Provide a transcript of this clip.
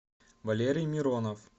валерий миронов